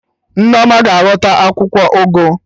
Nneoma ga-aghọta akwụkwọ ụgụ